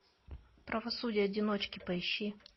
правосудие одиночки поищи